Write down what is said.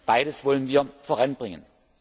Beides wollen wir voranbringen.